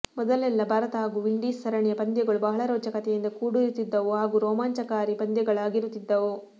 ಮೊದಲೆಲ್ಲಾ ಭಾರತ ಹಾಗೂ ವಿಂಡೀಸ್ ಸರಣಿಯ ಪಂದ್ಯಗಳು ಬಹಳ ರೋಚಕತೆಯಿಂದ ಕೂಡಿರುತ್ತಿದ್ದವು ಹಾಗೂ ರೋಮಾಂಚಕಾರಿ ಪಂದ್ಯಗಳಾಗಿರುತ್ತಿದ್ದವು